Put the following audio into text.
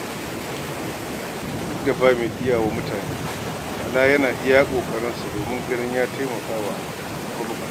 Duk da ba mai iyawa mutane, Bala yana iya yinsa domin ganin ya taimaka wa mabuƙata.